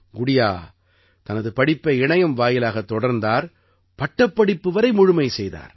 குடியா தனது படிப்பை இணையம் வாயிலாகத் தொடர்ந்தார் பட்டப்படிப்பு வரை முழுமை செய்தார்